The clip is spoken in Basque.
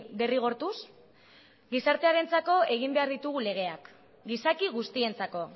derrigortuz gizartearentzako egin behar ditugu legeak gizaki guztientzako